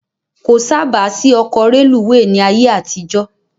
Kò sáábà sí ọkọ rélùweè ni ayé àtijó